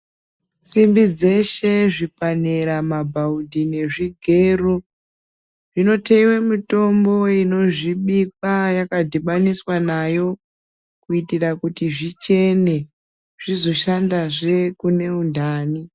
Simbi dzeshe , zvipanera mabhaudhi, nezvigero zvinotheiwa mitombo inozvibikwa yakadhibaniswa nayo kuitira kuti zvichene zvizoshandazve kune unhani.